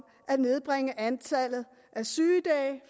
at nedbringe antallet af sygedage